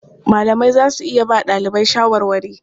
Malamai za su iya ba ɗalibai shawarwari.